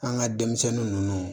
An ka denmisɛnnin ninnu